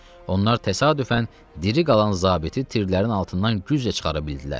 Onlar təsadüfən diri qalan zabiti tirlərin altından güclə çıxara bildilər.